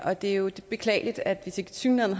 og det er jo beklageligt at det tilsyneladende